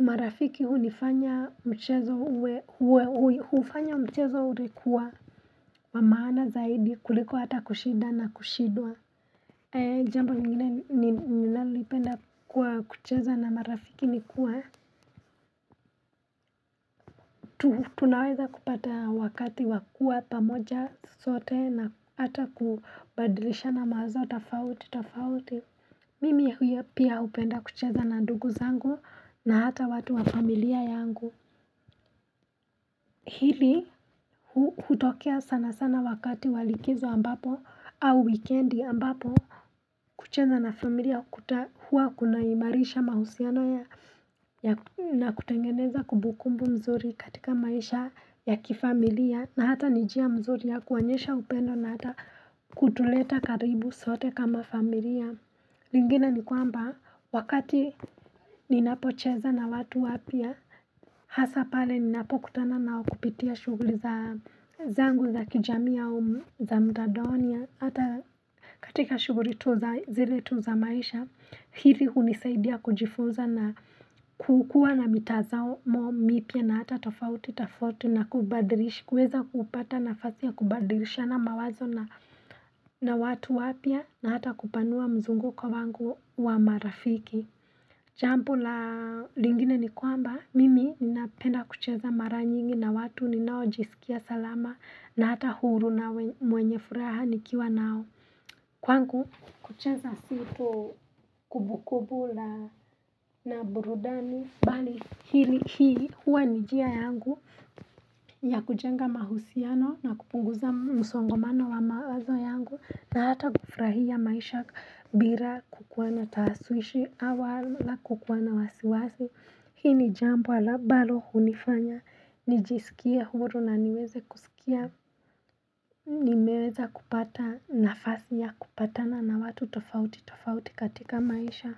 marafiki hunifanya mchezo hufanya mchezo ulikuwa wamaana zaidi kuliko hata kushinda na kushindwa Jambo lingine ni nalipenda kwa kucheza na marafiki ni kuwa Tunaweza kupata wakati wakuwa pamoja sote na hata kubadilisha na mawazo tofauti tofauti Mimi pia hupenda kucheza na ndugu zangu na hata watu wa familia yangu hili hutokea sana sana wakati walikizo ambapo au wikendi ambapo kucheza na familia kutahua kunaimarisha mahusiano ya na kutengeneza kumbukumbu mzuri katika maisha ya kifamilia na hata nijia mzuri ya kuonyesha upendo na hata hutuleta karibu zote kama familia lingine ni kwamba wakati ninapocheza na watu wapya Hasa pale ninapo kutana nao kupitia shughuli za zangu za kijamii ya humu za mtandaoni Hata katika shughuli tu za zile tu za maisha hivi hunisaidia kujifunza na kukua na mitazao mipya na hata tofauti tofauti na kubadirisha Kweza kupata nafasi ya kubadrish ya na mawazo na watu wapya na hata kupanua mzunguko wangu wa marafiki jambo la lingine ni kwamba mimi ninapenda kucheza mara nyingi na watu ninao jisikia salama na hata huru na mwenye furaha nikiwa nao kwangu kucheza si tu kumbukumbu la na burudani bali hili hii huwa ni njia yangu ya kujenga mahusiano na kupunguza msongomano wa mawazo yangu na hata kufurahia maisha bila kukuwa na taswishi wala kukuwa na wasiwasi Hii ni jambo ala ambalo hunifanya nijisikia huru na niweze kusikia Nimeweza kupata nafasi ya kupatana na watu tofauti tofauti katika maisha.